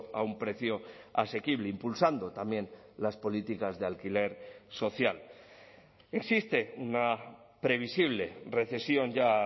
a un precio asequible impulsando también las políticas de alquiler social existe una previsible recesión ya a